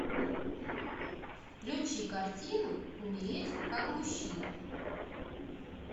включи картину умереть как мужчина